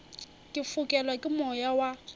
ke fokelwa ke moya wa